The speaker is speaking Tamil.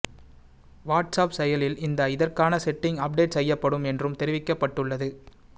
வாட்ஸ் அப் செயலில் இந்த இதற்கான செட்டிங் அப்டேட் செய்யப்படும் என்றும் தெரிவிக்கப்பட்டுள்ளது